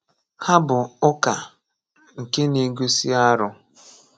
Ha bụ ụka nke na-egosi arụ.